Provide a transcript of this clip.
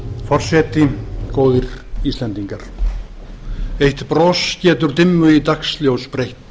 forseti góðir íslendingar eitt bros getur dimmu í dagsljós breytt